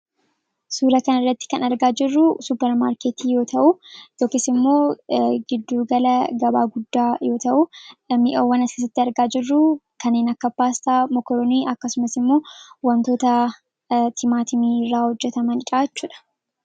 suura kan irratti kan argaa jirruu supermaarkeetii yoo ta'u yookiis immoo giddugala gabaa guddaa yoo ta'u mi'awwan as keessatti argaa jirruu kaniin akka paastaa ,mokoronii akkasumas immoo wantoota timaatimiiraa hojjetamandha jechuudha